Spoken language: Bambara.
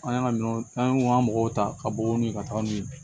An y'an ka minɛnw an y'u ka mɔgɔw ta ka bɔ ni ka taga ni